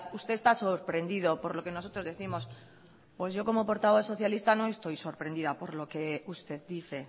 usted está sorprendido por lo que nosotros décimos pues yo como portavoz socialista no estoy sorprendida por lo que usted dice